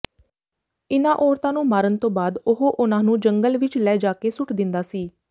ਇਨਾਂ ਔਰਤਾਂ ਨੂੰ ਮਾਰਨ ਤੋਂ ਬਾਅਦ ਉਹ ਉਨ੍ਹਾਂਨੂੰ ਜੰਗਲ ਵਿੱਚ ਲੈ ਜਾਕੇ ਸੁੱਟ ਦਿੰਦਾ ਸੀ